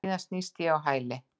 Síðan snýst ég á hæli.